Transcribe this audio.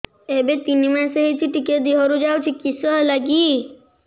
ଏବେ ତିନ୍ ମାସ ହେଇଛି ଟିକିଏ ଦିହରୁ ଯାଉଛି କିଶ ହେଲାକି